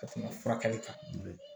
Ka tɛmɛ furakɛli kan